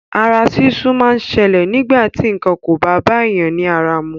Ara súsú máa ń ṣẹlè nígbà ti nǹkan kò bá bá èèyàn ní ara mu.